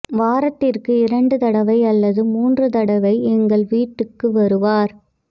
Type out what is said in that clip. வாரத் திற்கு இரண்டு தடவை அல்லது மூன்று தடவை எங்கள் வீட்டுக்கு வருவார்